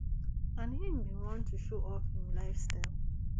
and im bin want to show off im lifestyle